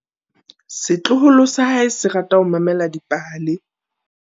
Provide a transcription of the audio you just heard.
Setloholo sa hae se rata ho mamela dipale.